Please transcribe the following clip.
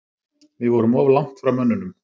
Við vorum of langt frá mönnunum.